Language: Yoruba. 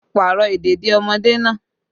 Pààrọ̀ ìdèdí ọmọdé náà!